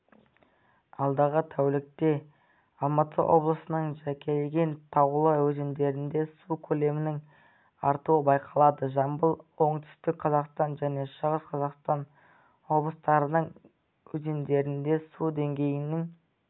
алдағы тәулікте алматы облысының жекелеген таулы өзендерінде су көлемінің артуы байқалады жамбыл оңтүстік қазақстан және шығыс қазақстан облыстарының өзендерінде су деңгейінің